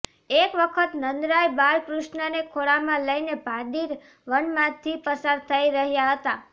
એક વખત નંદરાય બાળ કૃષ્ણને ખોળામાં લઇને ભાંડીર વન માંથી પસાર થઇ રહ્યા હતા